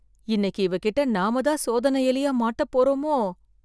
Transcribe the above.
இன்னைக்கு இவகிட்ட நாமதான் சோதனை எலியா மாட்ட போறோமோ?